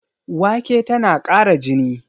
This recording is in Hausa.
Wake tana ƙara jini